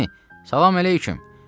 Əmi, salam əleyküm!